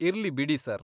ಇರ್ಲಿ ಬಿಡಿ ಸರ್.